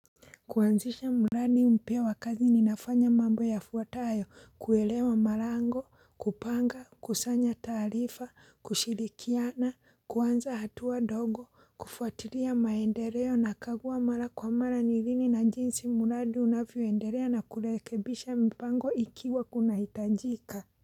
Kuanzisha muradi mpya wakati ninafanya mambo ya fuatayo kuelewa malango kupanga kusanya taarifa kushirikiana kuanza hatua ndogo kufuatiria maendereo nakaguwa mara kwa mara nilini na njinsi muradi unavioendelea na kulekebisha mpango ikiwa kuna hitajika.